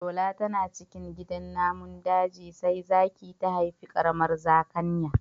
Shola tana cikin gidan namun daji sai zaki ta haifi ƙaramar zakanya.